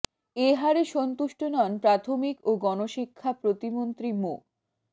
এ হারে সন্তুষ্ট নন প্রাথমিক ও গণশিক্ষা প্রতিমন্ত্রী মো